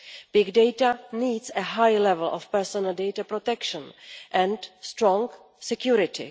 Big data needs a high level of personal data protection and strong security.